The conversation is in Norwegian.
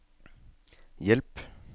hjelp